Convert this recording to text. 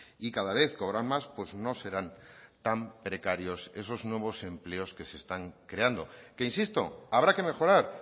y cada vez cobran más pues no serán tan precarios esos nuevos empleos que se están creando que insisto habrá que mejorar